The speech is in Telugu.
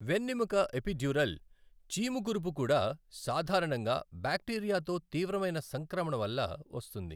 వెన్నెముక ఎపిడ్యూరల్ చీము కురుపు కూడా సాధారణంగా బ్యాక్టీరియాతో తీవ్రమైన సంక్రమణ వల్ల వస్తుంది.